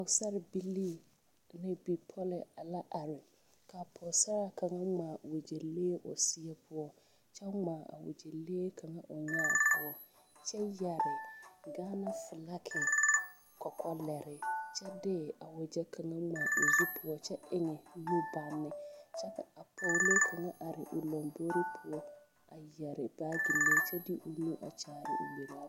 Pɔgesarebilee ane bipɔlɔ la are kaa pɔgesaraa kaŋ ŋmaa wagyɛlee o seɛ poɔ kyɛ ŋmaa a wagyɛlee kaŋ o nyaa poɔ kyɛ yɛre gaana filage kɔkɔlɛre kyɛ de a wagyɛ kaŋa ŋmaa o zu poɔ kyɛ eŋ nubagne ka pɔglee kaŋ are o lambore poɔ yɛre baagilee kyɛ de o nu a kyaare o gberaa poɔ.